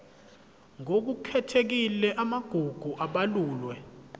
ngokukhethekile amagugu abalulwe